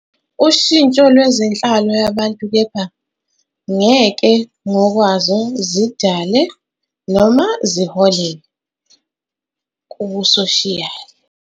Ushintsho lwezenhlalo yabantu kepha ngeke, ngokwazo, zidale, noma ziholele, kubusoshiyali.